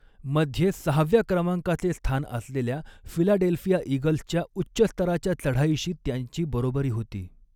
मध्ये सहाव्या क्रमांकाचे स्थान असलेल्या फिलाडेल्फिया ईगल्सच्या उच्च स्तराच्या चढाईशी त्यांची बरोबरी होती.